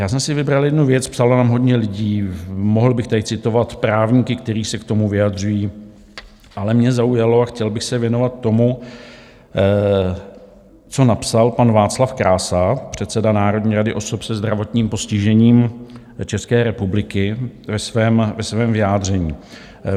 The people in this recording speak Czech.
Já jsem si vybral jednu věc, psalo nám hodně lidí, mohl bych tady citovat právníky, kteří se k tomu vyjadřují, ale mě zaujalo a chtěl bych se věnovat tomu, co napsal pan Václav Krása, předseda Národní rady osob se zdravotním postižením České republiky, ve svém vyjádření.